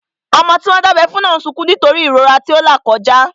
Ọmọ tí wọ́n dábẹ́ fún náà n sọkún nítorí ìrora tó n là kọjá